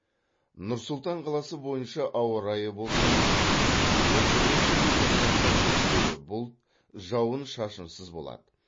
нұр сұлтан қаласы бойынша ауа райы болжамы отыз бірінші желтоқсанда көшпелі бұлт жауын шашынсыз болады